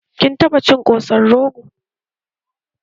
Kin taɓa cin ƙosan rogo?